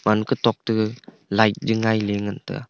panka tok to light jao laila ngan taga.